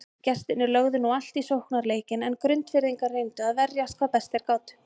Gestirnir lögðu nú allt í sóknarleikinn en Grundfirðingar reyndu að verjast hvað best þeir gátu.